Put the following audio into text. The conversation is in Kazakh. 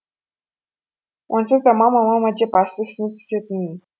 онсыз да мама мама деп асты үстіне түсетінмін